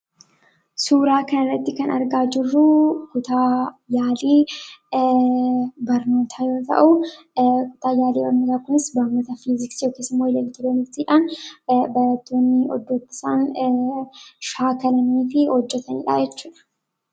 Suuraa kanatti kan argaa jirruu, kutaa yaalii barnootaa yoo ta'u, barnoota yaalii fiiziksii yookiis eleektirooniksiidhaan hojjechiisaan shaakalanii fi hojjetamudhaa jechuudha.